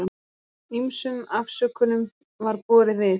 Ýmsum afsökunum var borið við.